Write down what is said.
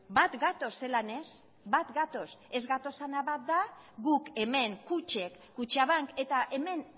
bat gatoz zelan ez bat gatoz ez gatozena bat da guk hemen kutxek kutxabank eta hemen